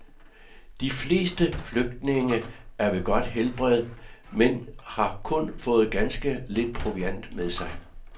De fleste flygtninge er ved godt helbred, men har kun fået ganske lidt proviant med sig.